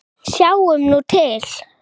Sjáum nú til?